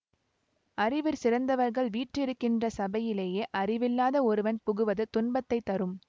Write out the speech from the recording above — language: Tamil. அறிவிற் சிறந்தவர்கள் வீற்றிருக்கின்ற சபையிலே அறிவில்லாத ஒருவன் புகுவது துன்பத்தை தரும்